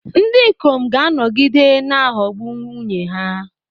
Ndị ikom ga-anọgide na-aghọgbu nwunye ha.